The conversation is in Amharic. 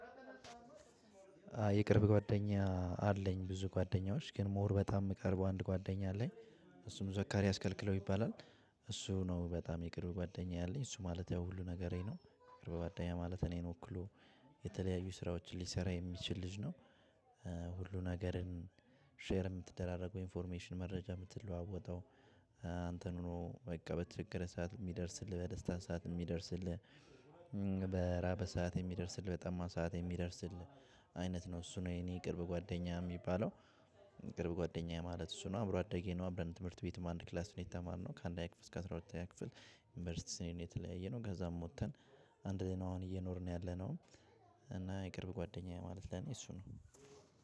የቅርብ ጓደኛ አለኝ ብዙ ጓደኛዎች ግን ሞር በጣም የምቀርበው አንድ ጓደኛ አለኝ። እሱም ዘካሪያስ ከልክለው ይባላል። እሱ ነው በጣም የቅርብ ጓደኛ ያለኝ እሱ ማለት ያው ሁሉ ነገሬ ነው የቅርብ ጓደኛ ማለት እኔን ወክሎ የተለያዩ ስራዎችን ሊሰራ የሚችል ልጅ ነው። ሁሉን ነገርን ሼር የምትደራረገው ኢንፎርሜሽን መረጃ የምትለዋወጠው። አንተን ሆኖ በቃ በትክክለኛ ሰዓት የሚደርስልህ በደስታ ሰዓት የሚደርስልህ በራበህ ሰዓት የሚደርስልህ በጠማህ ሰዓት የሚደርስልህ። አይነት ነው እሱ ነው የኔ ቅርብ ጓደኛ የሚባለው። የቅርብ ጓደኛዬ ማለት እሱ ነው አብሮ አደጌ ነው አብረን ትምህርት ቤት አንድ ክላስ ነው የተማርነው ከአንደኛ ክፍል እስከ አስራ ሁለተኛ ክፍል። ዩኒቨርሲቲ ስንሄድ ነው የተለያየነው። ከዛም ወጥተን አንድ ላይ ነው አሁን እየኖርን ያለነው። እና የቅርብ ጓደኛዬ ማለት ለኔ እሱ ነው።